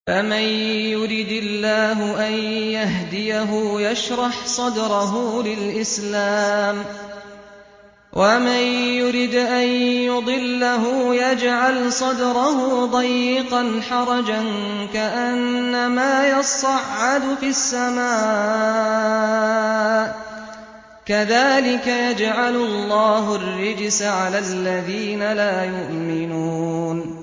فَمَن يُرِدِ اللَّهُ أَن يَهْدِيَهُ يَشْرَحْ صَدْرَهُ لِلْإِسْلَامِ ۖ وَمَن يُرِدْ أَن يُضِلَّهُ يَجْعَلْ صَدْرَهُ ضَيِّقًا حَرَجًا كَأَنَّمَا يَصَّعَّدُ فِي السَّمَاءِ ۚ كَذَٰلِكَ يَجْعَلُ اللَّهُ الرِّجْسَ عَلَى الَّذِينَ لَا يُؤْمِنُونَ